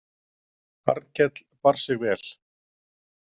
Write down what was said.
Arnkell bar sig vel.